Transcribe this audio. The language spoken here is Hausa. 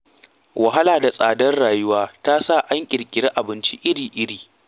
Wahala da kuma tsadar rayuwa ta sa an ƙirƙirii abinci iri-iri.